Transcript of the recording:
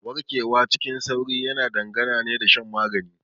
Warkewa cikin sauri yana dangana ne da shan magani.